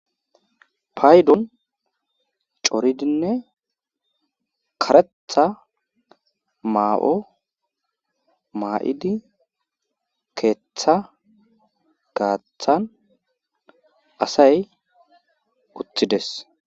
paydon coridinne karetha maa7o maa7idi keetha gaaththan asay utides